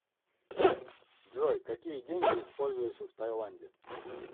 джой какие деньги используются в тайланде